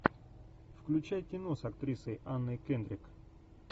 включай кино с актрисой анной кендрик